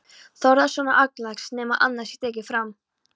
Þórðarsonar augnlæknis, nema annað sé tekið fram.